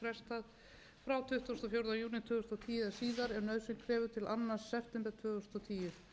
júní tvö þúsund og tíu eða síðar ef nauðsyn krefur til annars september tvö þúsund og tíu